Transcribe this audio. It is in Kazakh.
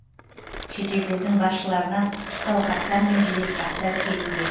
шетелдердің басшыларынан құттықтау хаттар мен жеделхаттар келуде